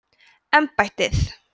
embættið